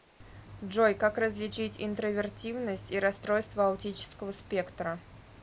джой как различить интровертивность и расстройство аутического спектра